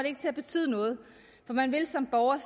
ikke til at betyde noget for man vil som borger